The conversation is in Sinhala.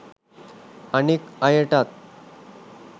අනෙක් අයටත්